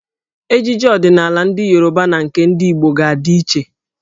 Ejiji ọdịnaala ndị Yoruba na nke ndị Igbo ga-adị iche.